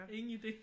Ingen idé